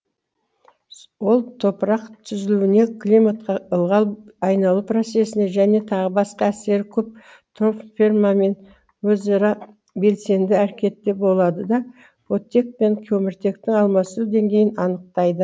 ол топырақ түзілуіне климатқа ылғал айналу процесіне және тағы басқа әсері көп тропосферамен өзара белсенді әрекетте болады да оттек пен көміртектің алмасу деңгейін анықтайды